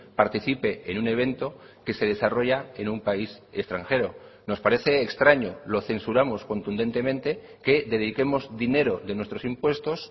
participe en un evento que se desarrolla en un país extranjero nos parece extraño lo censuramos contundentemente que dediquemos dinero de nuestros impuestos